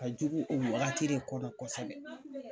Ka jugu o wagati de kɔnɔ kosɛbɛ.